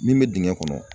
Min bɛ dingɛ kɔnɔ